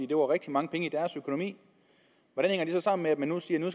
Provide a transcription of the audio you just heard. det var rigtig mange penge i deres økonomi hvordan hænger det så sammen med at man nu siger at